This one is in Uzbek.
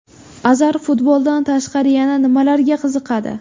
Azar futboldan tashqari yana nimlarga qiziqadi?